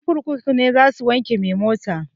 Ƴan kurkuku ne za su wanke mai mota